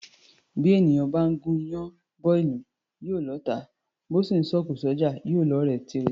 Bí èèyàn bá gún iyán bọ́ ìlú, yóò lọ́ọ̀tá; bó sì ńsọ òkò s’ọ́jà, yóò lọ́ọ̀rẹ́ tirẹ̀.